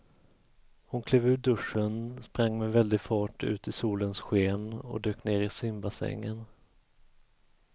Hon klev ur duschen, sprang med väldig fart ut i solens sken och dök ner i simbassängen.